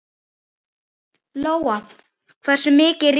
Lóa: Hversu mikið rýrna þær?